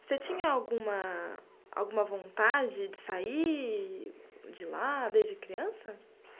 Você tinha alguma... alguma vontade de sair de lá desde criança?